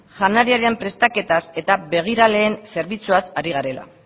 janariaren prestaketaz eta begiraleen zerbitzuaz ari garela